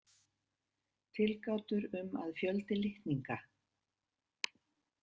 Tilgátur um að fjöldi litninga.